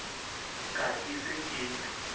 ka ke se ke le